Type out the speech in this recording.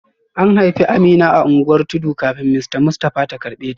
An haifi Amina a unguwar tudu kafin Mrs Mustafa ta karbe ta